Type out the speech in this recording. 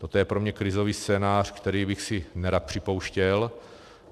Toto je pro mě krizový scénář, který bych si nerad připouštěl.